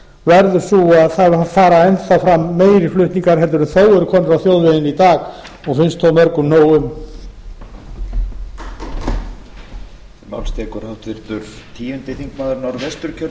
verður sú að það fara enn þá fram meiri flutningar en þó eru komnir á þjóðvegina í dag og finnst þó mörgum nóg um